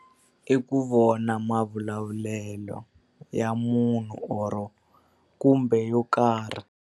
I ku vona mavulavulelo ya munhu or-o kumbe yo karhi.